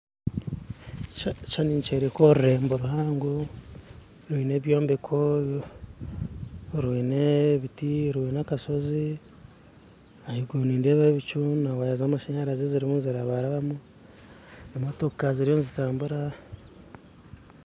Ekishushani nikyoreka orurembo ruhango rwine ebyombeko rwine ebiti rwine akashozi haiguru nindeebayo ebicu na waya zamashanyarazi ziriyo nizirabarabamu emotoka ziriyo nizitambura